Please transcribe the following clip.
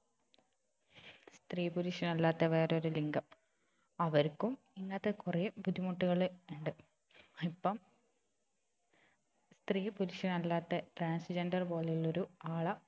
സ്ത്രീ പുരുഷനല്ലാത്ത വേറൊരു ലിംഗം അവർക്കും ഇങ്ങനത്തെ കുറെ ബുദ്ധിമുട്ടുകൾ ഉണ്ട് ഇപ്പം സ്ത്രീ പുരുഷനല്ലാത്ത trans gender പോലെയുള്ളൊരു ആള